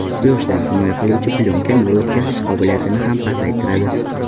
Quyoshdan himoya qiluvchi plyonka nur o‘tkazish qobiliyatini ham pasaytiradi.